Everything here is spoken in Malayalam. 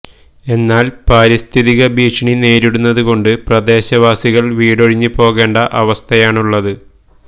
എന്നാല് പാരിസ്ഥിതിക ഭീഷണി നേരിടുന്നത് കൊണ്ട് പ്രദേശവാസികള് വീടൊഴിഞ്ഞ് പോകേണ്ട അവസ്ഥയാണുള്ളത്